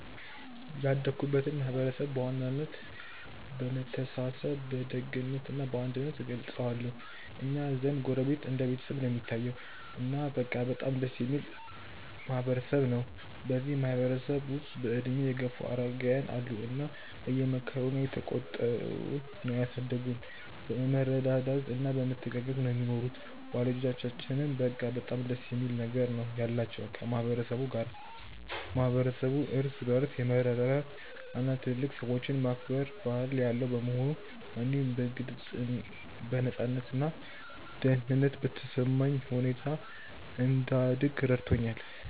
ያደግኩበትን ማህበረሰብ በዋናነት በመተሳሰብ በደግነት እና በአንድነት እገልጸዋለሁ። እኛ ዘንድ ጎረቤት እንደ ቤተሰብ ነው እሚታየዉ። እና በቃ በጣም ደስ እሚል ማህበረ ሰብ ነው። እዚህ ማህበረ ሰብ ውስጥ በእድሜ የገፉ አረጋውያን አሉ እና እየመከሩና እየተቆጡ ነው ያሳደጉን። በመረዳዳት እና በመተጋገዝ ነው ሚኖሩት። ወላጆቻችንም በቃ በጣም ደስ የሚል ነገር ነው ያላቸው ከ ማህበረ ሰቡ ጋር። ማህበረሰቡ እርስ በርስ የመረዳዳት እና ትልልቅ ሰዎችን የማክበር ባህል ያለው በመሆኑ፣ እኔም በነፃነት እና ደህንነት በተሰማኝ ሁኔታ እንድደግ ረድቶኛል።